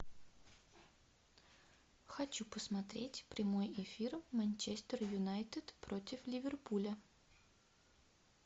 хочу посмотреть прямой эфир манчестер юнайтед против ливерпуля